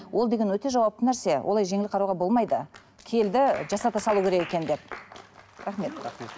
ол деген өте жауапты нәрсе олай жеңіл қарауға болмайды келді жасата салу керек екен деп рахмет рахмет